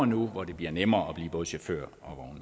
nu hvor det bliver nemmere at blive både chauffør